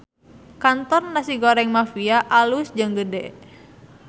Kantor Nasi Goreng Mafia alus jeung gede